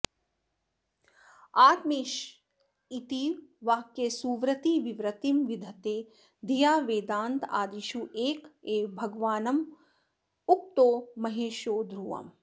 आत्मैवैष इतीव वाक्यसुवृतिर्वृत्तिं विधत्ते धिया वेदान्तादिषु एक एव भगवानुक्तो महेशो ध्रुवम्